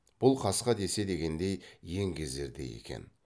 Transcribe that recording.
бұл қасқа десе дегендей еңгезердей екен